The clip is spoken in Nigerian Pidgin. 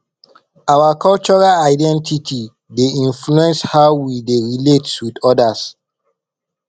our cultural identity dey influence how we dey relate with odas